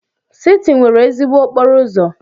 Siti nwere ezigbo okporo ụzọ.